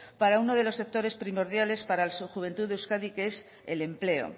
para uno de los sectores primordiales para la juventud de euskadi que es el empleo